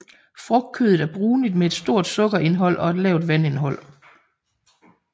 Frugtkødet er brunligt med et stort sukkerindhold og et lavt vandindhold